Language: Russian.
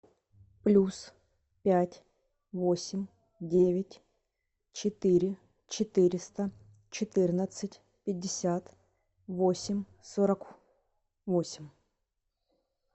плюс пять восемь девять четыре четыреста четырнадцать пятьдесят восемь сорок восемь